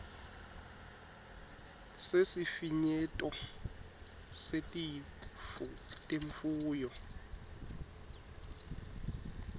sesifinyeto setifo temfuyo